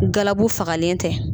fagalen tɛ.